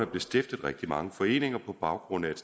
blev stiftet rigtig mange foreninger på baggrund af et